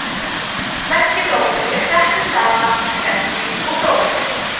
sleggjudómur er sett saman úr sleggja og dómur